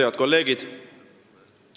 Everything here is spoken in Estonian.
Head kolleegid!